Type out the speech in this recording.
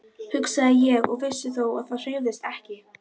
Þeir hrökkluðust frá húsinu, undrandi og sárir.